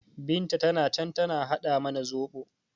Binta tana can tana haɗa mana zoɓo